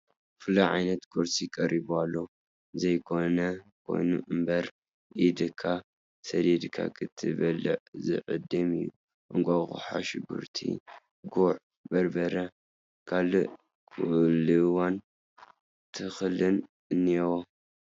ፍሉይ ዓይነት ቁርሲ ቀሪቡ ኣሎ፡፡ ዘይኾን ኮይኑ እምበር ኢድካ ሰዲድካ ክትበልዕ ዝዕድም እዩ፡፡ እንቋቑሖ፣ ሽጉርቲ፣ ጉዕ በርበረ፣ ካልእ ቁልዋን ተኽልን እኔዎ፡፡